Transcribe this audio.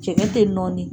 Jɛgɛ te nɔɔni